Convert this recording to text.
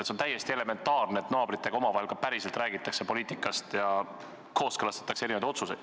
See on täiesti elementaarne, et naabritega räägitakse omavahel poliitikast ja kooskõlastatakse erinevaid otsuseid.